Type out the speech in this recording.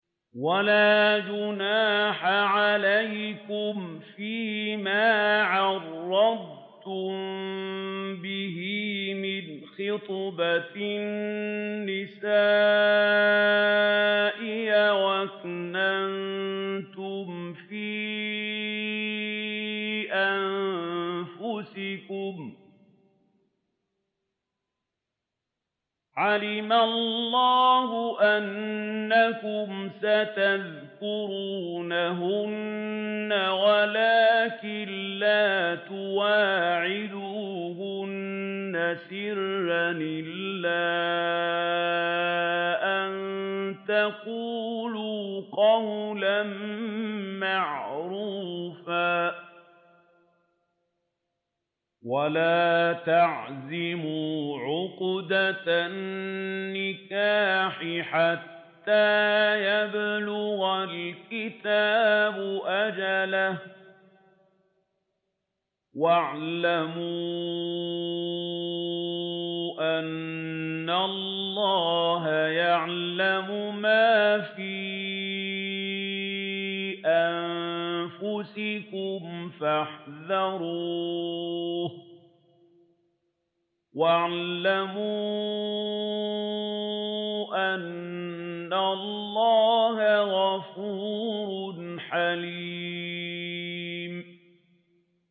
وَلَا جُنَاحَ عَلَيْكُمْ فِيمَا عَرَّضْتُم بِهِ مِنْ خِطْبَةِ النِّسَاءِ أَوْ أَكْنَنتُمْ فِي أَنفُسِكُمْ ۚ عَلِمَ اللَّهُ أَنَّكُمْ سَتَذْكُرُونَهُنَّ وَلَٰكِن لَّا تُوَاعِدُوهُنَّ سِرًّا إِلَّا أَن تَقُولُوا قَوْلًا مَّعْرُوفًا ۚ وَلَا تَعْزِمُوا عُقْدَةَ النِّكَاحِ حَتَّىٰ يَبْلُغَ الْكِتَابُ أَجَلَهُ ۚ وَاعْلَمُوا أَنَّ اللَّهَ يَعْلَمُ مَا فِي أَنفُسِكُمْ فَاحْذَرُوهُ ۚ وَاعْلَمُوا أَنَّ اللَّهَ غَفُورٌ حَلِيمٌ